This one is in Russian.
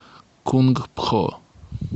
кунг пхо